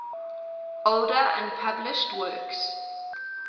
older unpublished works